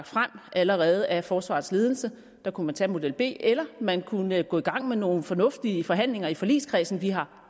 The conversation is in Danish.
frem allerede af forsvarets ledelse der kunne man tage model b eller man kunne gå i gang med nogle fornuftige forhandlinger i forligskredsen vi har